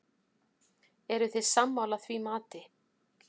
Eruð þið sammála því mati?